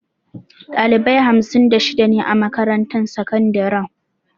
Ɗalibai hamsin da shida ne a makarantar sakandaren.